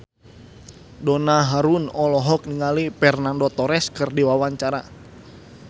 Donna Harun olohok ningali Fernando Torres keur diwawancara